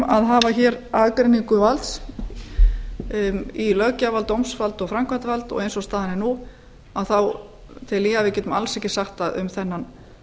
að hafa hér aðgreiningu valds í löggjafar dómsvald og framkvæmdarvald og eins og staðan er nú tel ég að við getum alls ekki sagt að um meðan